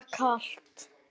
Mér var kalt.